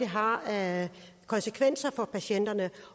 har af konsekvenser for patienterne